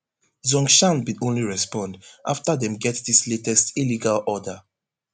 zhongshan bin only respond afta dem get dis latest illegal order